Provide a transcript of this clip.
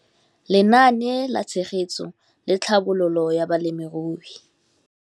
Lenaane la Tshegetso le Tlhabololo ya Balemirui.